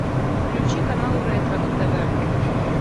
включи канал ретро на тв